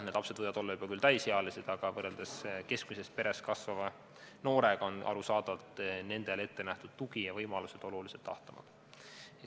Nad võivad küll olla juba täisealised, aga võrreldes keskmises peres kasvava noorega on arusaadavalt nendele ettenähtud tugi ja võimalused oluliselt ahtamad.